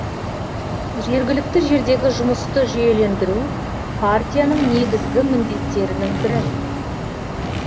жергілікті жердегі жұмысты жүйелендіру партияның негізгі міндеттерінің бірі